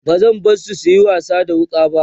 bazan bari suyi wasa da wuƙa ba